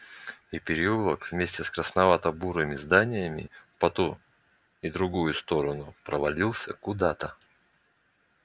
и переулок вместе с красновато-бурыми зданиями по ту и другую сторону провалился куда-то